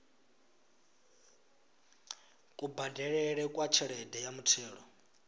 kubadelele kwa tshelede ya muthelo